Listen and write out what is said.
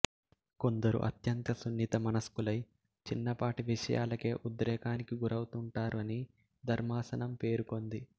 కొందరు అత్యంత సున్నిత మనస్కులై చిన్నపాటి విషయాలకే ఉద్రేకానికి గురవుతుంటారు అని ధర్మాసనం పేర్కొంది